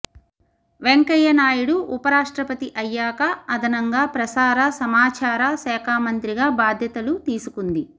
వెంకయ్యనాయుడు ఉప రాష్ట్రపతి అయ్యాక అదనంగా ప్రసార సమాచార శాఖ మంత్రిగా బాధ్యతలు తీసుకుంది